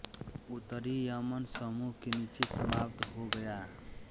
उत्तरी यमन समूह के नीचे समाप्त हो गया